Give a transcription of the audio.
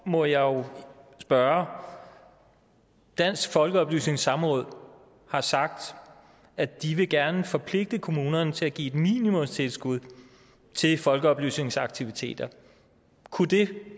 må jeg spørge dansk folkeoplysnings samråd har sagt at de gerne vil forpligte kommunerne til at give et minimumstilskud til folkeoplysningsaktiviteter kunne det